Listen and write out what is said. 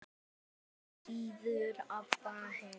Því síður Abba hin.